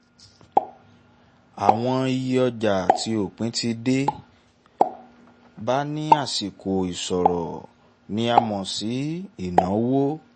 àwọn iye ọjà tí òpin ti dé bá ní àsìkò ìṣirò ni a mọ̀ sí ìnáwó.